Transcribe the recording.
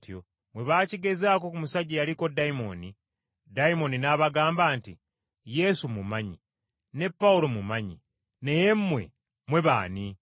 Bwe baakigezaako ku musajja eyaliko dayimooni, dayimooni n’abagamba nti, “Yesu mmumanyi, ne Pawulo mmumanyi, naye mmwe, mmwe b’ani?”